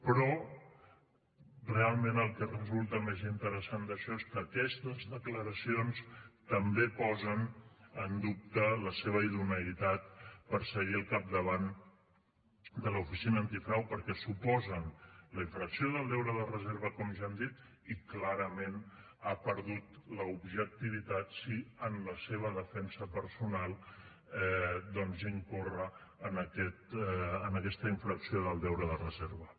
però realment el que resulta més interessant d’això és que aquestes declaracions també posen en dubte la seva idoneïtat per seguir al capdavant de l’oficina antifrau perquè suposen la infracció del deure de reserva com ja hem dit i clarament ha perdut l’objectivitat si en la seva defensa personal doncs incorre en aquesta infracció del deure de reserva